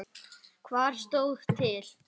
Hvað stóð til?